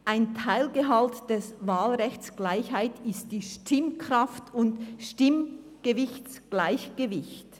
ein Teilgehalt des Wahlrechts Gleichheit ist Stimmkraft und Stimmgewichtsgleichgewicht.